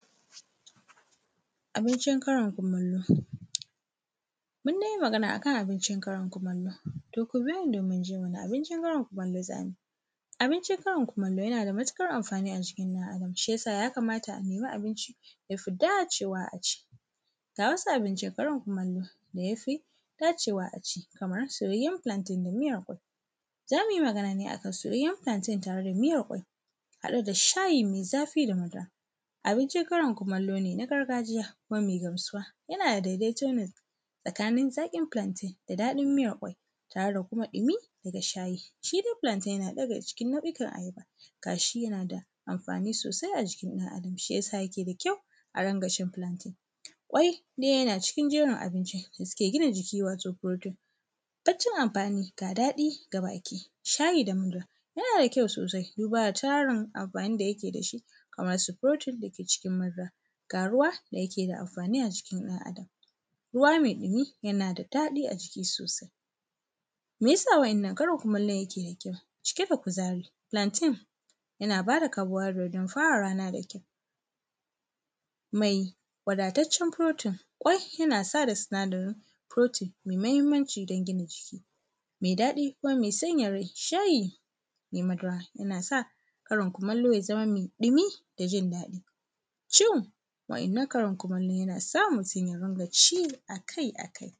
Abincin karin kumallo. Mun dai yi magana a kan abincin karin kumallo, to ku biyo ni domin jin wane abincin karin kumallo za mu yi. Abincin karin kumallo yana da matuƙar amfani a jikin ɗan Adam, shi ya sa, ya kamata a nemi abinci da ya fi dacewa a ci. Ga wasu abincin karin kumallo da ya fidacewa a ci kamar soyayyen plantain da miyar ƙwai. Za mu yi magana ne a kan soyayyen plantain da miyar ƙwai, haɗe da shayi mai zafi da madara. Abincin karin kumallo ne na gargajiya kuma mai gamsuwa. Yana da daidaito ne tsakanin zaƙin plantain da daɗin miyar ƙwai tare da kuma ɗumi ga shayi. Shi dai plantain yana daga cikin nau’ikan ayaba, ga shi yana da amfani sosai a jikin ɗan Adam, shi ya sa yake da kyau, a dinga cin plantain. Ƙwai dai yana cikin jerin abinci da suke gina jiki, wato protein. Baccin amfani, ga daɗi ga baki. Shayi da madara yana da kyau sosai duba da tarin amfanin da yake da shi kamarsu protein da ke cikin madara, ga ruwa da yake da amfani a jikin ɗan Adam. Ruwa mai ɗumi, yana da daɗi a jiki sosai. Me ya sa wannan karin kumallon yake da kyau, Cike da kuzari? Plantain yana ba da carbohydrate don fara rana da kyau, mai wadataccen protein. Ƙwai yana sada sinadarin protein mai muhimmanci don gina jiki, mai daɗi, kuma mai sanya rai. Shayi mai madara yana sa karin kumallo ya zama mai ɗumi da jin daɗi. Cin wannan karin kumallo yana sa utum ya dinga ci a kai a kai.